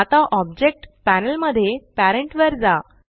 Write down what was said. आता object panel मध्ये parent वर जा